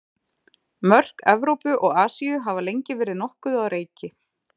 Mörk Evrópu og Asíu hafa lengi verið nokkuð á reiki.